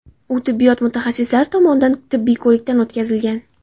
U tibbiyot mutaxassislari tomonidan tibbiy ko‘rikdan o‘tkazilgan.